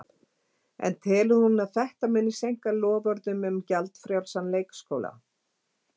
En telur hún að þetta muni seinka loforðum um gjaldfrjálsan leikskóla?